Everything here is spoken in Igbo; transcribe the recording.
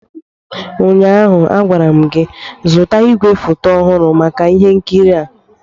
ụnyaahụ, a gwara m gị, zụta igwefoto ọhụrụ maka ihe nkiri a!